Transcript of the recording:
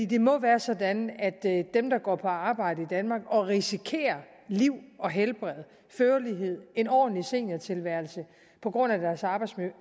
det må være sådan at det er dem der går på arbejde i danmark og risikerer liv og helbred førlighed en ordentlig seniortilværelse på grund af deres arbejdsmiljø